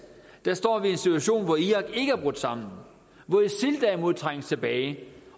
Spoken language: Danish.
står vi i en situation hvor irak ikke er brudt sammen hvor isil derimod trænges tilbage